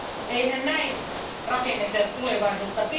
Eihän näin rakenneta tulevaisuutta!